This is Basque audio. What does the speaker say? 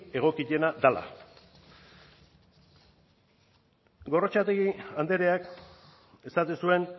egokiena dela gorrotxategi andreak esaten zuen